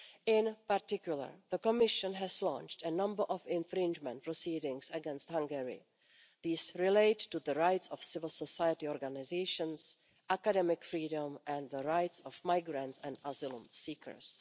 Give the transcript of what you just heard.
In particular, the Commission has launched a number of infringement proceedings against Hungary. These relate to the rights of civil society organisations, academic freedom and the rights of migrants and asylum seekers.